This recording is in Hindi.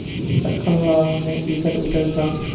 छक्कन लाल ने इधरउधर झॉँक कर